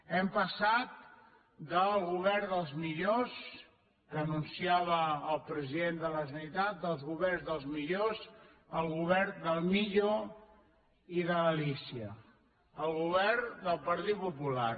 hem passat del govern dels millors que anunciava el president de la generalitat del govern dels millors al govern del millo i de l’alícia al govern del partit popular